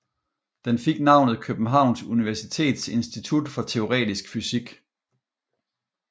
Den fik navnet Københavns Universitets Institut for Teoretisk Fysik